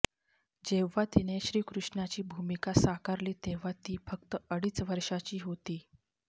जेव्हा तिने श्रीकृष्णाची भूमिका साकारली तेव्हा ती फक्त अडीज वर्षाची होती